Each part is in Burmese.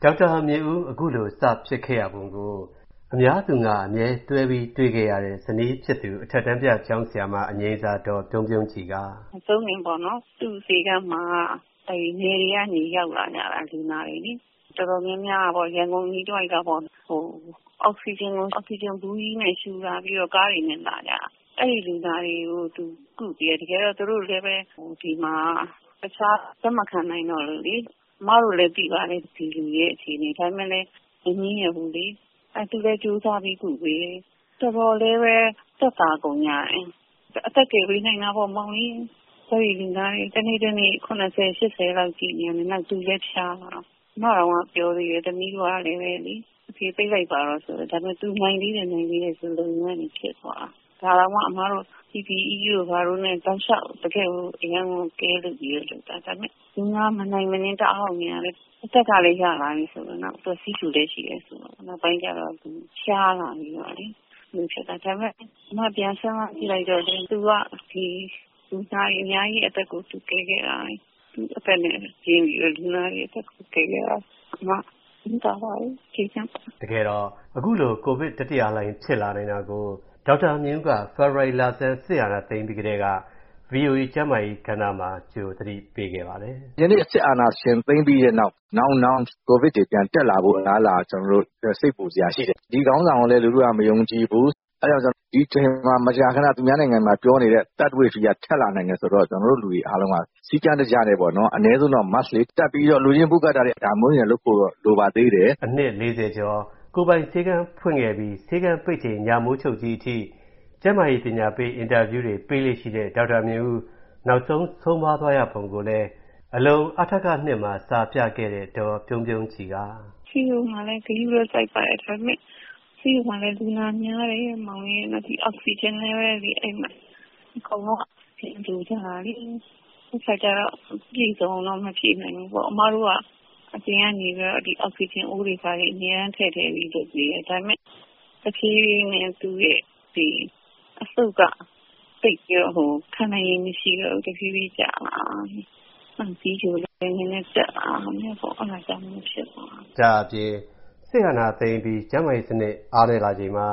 ဒေါက်တာ မြင့်ဦး အခုလို စ ဖြစ်ခဲ့ရပုံကို အများသူငါ အမြဲတွဲပြီး တွေ့ခဲ့ရတဲ့ ဇနီးဖြစ်သူ အထက်တန်းပြ ကျောင်းဆရာမ အငြိမ်းစား ဒေါ်ပြုံးပြုံးကြည်က “ မဆုံးခင်ပေါ့နော် သူ့ဆေးခန်းမှာ နယ်တွေကနေ ရောက်လာကြတာ လူနာတွေလေ တော်တော်များများက ရန်ကုန် အနီးတဝိုက်က အောက်ဆီဂျင် ဘူးကြီးနဲ့ ရှုလာပြီးတော့ ကားတွေနဲ့ လာကြတာ။ အဲဒီ လူနာတွေကို သူ ကုပေးတာ။ တကယ်တော့ သူတို့လည်းဘဲ ဒီမှာ တခြား လက်မခံနိုင်တော့လို့လေ၊ ကျမတို့လည်း သိပါတယ်။ ဒီလူတွေရဲ့ အခြေအနေ။ ဒါပေမယ့်လည်း မငြင်းရက်ဘူးလေ။ သူလည်း ကြိုးစားပြီး ကုတယ်။ တော်တော်လေးလည်း သက်သာ ကုန်ကြတယ်။ အသက် ကယ်ပေးနိုင်တာပေါ့။ စိုးရိမ် လူနာတွေ တနေ့ တနေ့ ၇၀ - ၈၀ လောက် ကြည့်နေတာ။ နောက် သူလည်း ဖျား။ မိသားစုကလည်း ပြောကြတယ် ပိတ်လိုက်ပါတော့ ဆိုတာကို သူ နိုင်သေးတယ်၊ နိုင်သေးတယ် ဆိုရင်းကနေ ဖြစ်သွားတာ။ ” “ ဒါတောင် PPE တို့ ဘာတို့နဲ့ တောက်လျှောက် အရမ်းကို ဂရုစိုက်ပြီး လုပ်တာ။ ဒါပေမယ့် လူနာက မနိုင်မနင်း တအားကို များတဲ့ အခါကျတော့ အသက်ကလည်း ရလာပြီ ဆိုတော့ နောက် သူက ဆီးချိုလည်း ရှိတယ် ဆိုတော့ နောက်ပိုင်းကျတော့ သူ ဖျားပါလေရော။ ” “ ဒါပေမယ့် ပြန်စဉ်းစား ကြည့်လိုက်တော့လည်း သူက လူနာတွေ အများကြီး အသက်ကို ကယ်ခဲ့တာ။ သူ့အသက်နဲ့ ရင်းပြီးတော့ လူနာတွေ အသက်ကို ကယ်ခဲ့တာ။ ကျမ ဝမ်းသာပါတယ်။ ကျေနပ်ပါတယ်။ ” တကယ်တော့ အခုလို Covid တတိယလှိုင်း ဖြစ်လာနိုင်တာကို ဒေါက်တာ မြင့်ဦးက ဖေဖော်ဝါရီ လဆန်း စစ်အာဏာသိမ်းပြီး ကတည်းက ဗွီအိုအေ ကျန်းမာရေး ကဏ္ဍမှာ ကြို သတိပေးခဲ့ပါတယ်။ “ ယနေ့ စစ်အာဏာရှင် သိမ်းပြီးတဲ့နောက် နောက်နောင် Covid တွေ ပြန်တက်လာဖို့ အလားအလာ ကျနော်တို့ စိတ်ပူစရာ ရှိတယ်။ ဒီ ခေါင်းဆောင်ကိုလည်း လူထုက မယုံကြည်ဘူး။ ဒီအချိန်မှာ သူများနိုင်ငံမှာ ပြောနေတဲ့ Third Wave က ထပ်လာနိုင်တယ် ဆိုတော့ ကျနော်တို့ လူတွေ အားလုံးက စည်းကမ်း တကျနဲ့ပေါ့ အနည်းဆုံးတော့ Mask လေး တပ်ပြီး လူချင်း မပူးကပ်ကြနဲ့။ ဒါမျိုးတွေတော့ လိုပါသေးတယ်။ ” အနှစ် ၄၀ ကျော် ကိုယ်ပိုင် ဆေးခန်း ဖွင့်ခဲ့ပြီး ဆေးခန်းပိတ်ချိန် ညမိုးချုပ်သည်ထိ ကျန်းမာရေး ပညာပေး အင်တာဗျူးတွေ ပေးလေ့ ရှိတဲ့ ဒေါက်တာ မြင့်ဦး နောက်ဆုံး ဆုံးပါး သွားရပုံကိုလည်း အလုံ အထက ၂ မှာ စာပြခဲ့တဲ့ ဒေါ်ပြုံးပြုံးကြည်က “ ဆေးရုံကလည်း ဂရုစိုက်ပါတယ်။ ဒါပေမယ့် ဆေးရုံမှာလည်း လူနာများတယ်။ အောက်ဆီဂျင်လည်း အကုန်လုံးက လိုကြတာလေ။ ပြည့်စုံအောင်တော့ မဖြည့်နိုင်ဘူးပေါ့။ အမတို့က အောက်ဆီဂျင် အိုးတွေ ဘာတွေ အမြဲတမ်း ထည့်ထည့်ပြီး လုပ်ပေးတယ်။ ဒါပေမယ့် တဖြည်းဖြည်းနဲ့ သူ့ အဆုတ်က သိပ်ပြီး ခံနိုင်ရည် မရှိတော့ တဖြည်းဖြည်း ကျလာတာ။ ဆီးချိုလည်း နည်းနည်း တက်လာတာပေါ့။ အဲဒါကြောင့် မို့လို့ ဖြစ်သွားတာ။” ဒါ့အပြင် စစ်အာဏာသိမ်းပြီး ကျန်းမာရေး စနစ် အားနည်းလာချိန်မှာ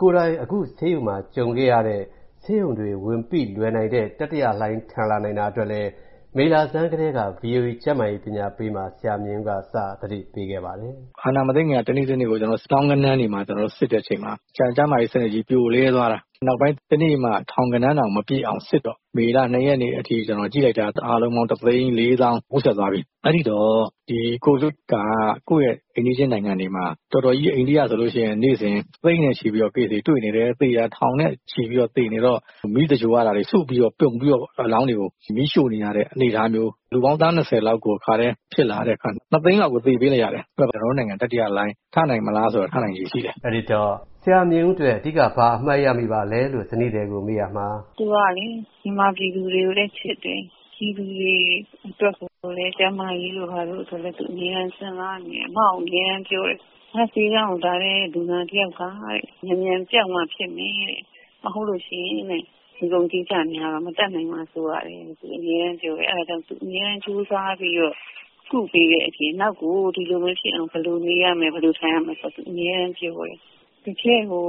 ကိုယ်တိုင် အခု ဆေးရုံမှာ ကြုံခဲ့ရတဲ့ ဆေးရုံတွေ ဝန်ပိလွယ်နိုင်တဲ့ တတိယလှိုင်း ထန်လာနိုင်တာ အတွက်လည်း မေလဆန်းကတည်းက ဗွီအိုအေ ကျန်းမာရေး ပညာပေးမှာ ဆရာမြင့်ဦးက စ သတိပေး ခဲ့ပါတယ်။ “ အာဏာ မသိမ်းခင်က တနေ့ တနေ့ကို သောင်းဂဏန်း စစ်တဲ့ အချိန်မှာ ကျန်းမာရေး စနစ်ကြီး ပြိုလဲသွားတာ။ နောက်ပိုင်း တနေ့မှ ထောင်ဂဏန်းတောင် မပြည့်အောင် စစ်တော့ မေလ ၂ ရက်နေ့ထိ ကျနော် ကြည့်လိုက်တာ အားလုံးပေါင်း ၁၄၀,၀၀၀ ထိုးတက်သွားပြီ။ အဲဒီတော့ ဒီ Covid က ကိုယ့်ရဲ့ အိမ်နီးချင်း နိုင်ငံတွေမှာ အိန္ဒိယ ဆိုရင် နေ့စဉ် သိန်းနဲ့ချီပြီး တွေ့နေတယ်။ သေတာ ထောင်နဲ့ချီပြီး သေနေတော့ မီးသဂြိုဟ်ရတာတွေ စုပြီးတော့ ပြုံပြီးတော့ အလောင်းတွေကို မီးရှို့နေရတဲ့ အနေအထားမျိုး လူပေါင်း သန်း ၂၀ လောက်ကို တခါတည်း ဖြစ်လာတဲ့ အခါမှာ ၂ သိန်းလောက် သေပေးလိုက်ရတယ်။ ကျနော်တို့ နိုင်ငံ တတိယ လှိုင်း ထနိုင်မလား ဆိုတော့ ထနိုင်ခြေ ရှိတယ်။ ” အဲဒီတော့ ဆရာ မြင့်ဦး အတွက် အဓိက ဘာ အမှတ်ရမိပါလဲလို့ ဇနီးသည်ကို မေးရာမှာ “ သူကလေ မြန်မာ ပြည်သူတွေကိုလည်း ချစ်တယ်။ ပြည်သူတွေ အတွက် ကျန်းမာရေးဆိုလည်း သူ အမြဲတမ်း စဉ်းစားနေတယ်။ နောက် အမြဲတမ်း ပြောတယ် ငါ့ဆေးခန်းကို လာတဲ့ လူနာတွေက မြန်မြန် ပျောက်မှ ဖြစ်မယ်တဲ့။ မဟုတ်လို့ ရှိရင်တဲ့ ငွေကုန်ကြေးကျ များတော့ မတတ်နိုင်မှာ စိုးရတယ်တဲ့။ သူ အမြဲတမ်း ပြောတယ်။ အဲဒါကြောင့် သူ အမြဲတမ်း ကြိုးစားပြီးတော့ ကုပေးတဲ့ အပြင် နောက်ကို သူ ဒီလို မဖြစ်အောင် ဘယ်လို နေရမယ်၊ ဘယ်လို ထိုင်ရမယ်ဆိုတာ သူ အမြဲတမ်း ပြောတယ်။ တကယ်ကို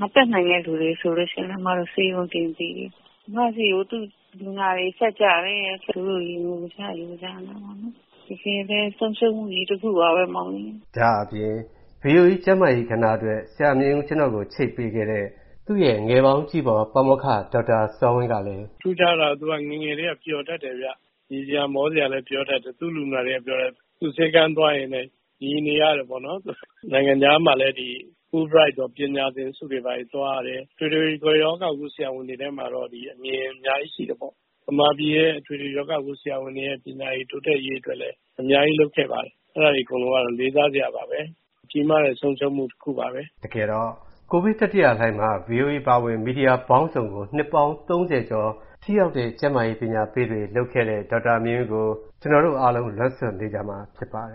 မတတ်နိုင်တဲ့ သူတွေ ဆိုလို့ ရှိရင်လည်း ကျမတို့ ဆေးရုံ တင်ပေးတယ်။ ကျမဆီကို သူ့ လူနာတွေ ဆက်ကြတယ်။ ငိုကြ ယိုကြနဲ့ပေါ့လေ။ တကယ်ဘဲ ဆုံးရှုံးမှုကြီး တခုပါဘဲ။ ” ဒါ့အပြင် ဗွီအိုအေ ကျန်းမာရေး ကဏ္ဍ အတွက် ဆရာမြင့်ဦး ကျနော့်ကို ချိတ်ပေးခဲ့တဲ့ သူ့ရဲ့ ငယ်ပေါင်းကြီးဖော် ပါမောက္ခ ဒေါက်တာ စောဝင်းကလည်း “ ထူးခြားတာက သူက ငယ်ငယ်ကတည်းက ပျော်တတ်တယ်ဗျ။ ရယ်စရာ မောစရာလည်း ပြောတတ်တယ်။ သူ့ လူနာတွေက ပြောတယ် သူ့ဆေးခန်းသွားရင်တဲ့ ရီနေရတယ်ပေါ့နော်။ နိုင်ငံခြားမှာလည်း ဒီ Fullbright ပညာသင်ဆုတွေ ဘာတွေ သွားရတယ်။ အထွေထွေ ရောဂါကု ဆရာဝန်တွေထဲမှာတော့ အမြင်တွေ အများကြီး ရှိတယ်ပေါ့။ ဗမာပြည်ရဲ့ အထွေထွေ ရောဂါကု ဆရာဝန်တွေရဲ့ ပညာရည် တိုးတက်ရေး အတွက်လည်း အများကြီး လုပ်ခဲ့ပါတယ်။ အဲဒါတွေ အကုန်လုံးကတော့ လေးစားစရာတွေပါဘဲ။ ကြီးမားတဲ့ ဆုံးရှုံးမှု တခုပါဘဲ။ ” တကယ်တော့ Covid တတိယလှိုင်းမှာ ဗွီအိုအေ အပါအဝင် မီဒီယာ ပေါင်းစုံကို နှစ်ပေါင်း ၃၀ ကျော် ထိရောက်တဲ့ ကျန်းမာရေး ပညာပေးတွေ လုပ်ခဲ့တဲ့ ဒေါက်တာ မြင့်ဦးကို အားလုံး လွမ်းဆွတ်နေမှာ ဖြစ်ပါတယ်